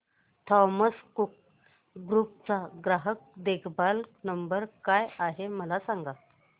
Thomas Cook group चा ग्राहक देखभाल नंबर काय आहे मला सांगा